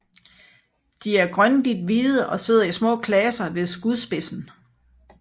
De er grønligt hvide og sidder i små klaser ved skudspidsen